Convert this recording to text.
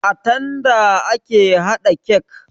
A tanda ake haɗa kek